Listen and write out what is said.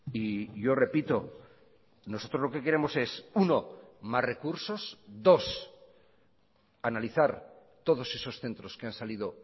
y yo repito nosotros lo que queremos es uno más recursos dos analizar todos esos centros que han salido